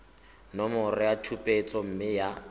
nomoro ya tshupetso mme ya